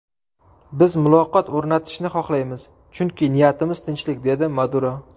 Biz muloqot o‘rnatishni xohlaymiz, chunki niyatimiz tinchlik”, dedi Maduro.